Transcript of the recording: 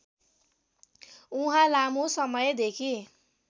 उहाँ लामो समयदेखि